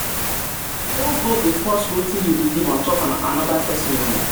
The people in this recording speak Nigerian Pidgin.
no go um dey force um wetin yu belief on top anoda pesin o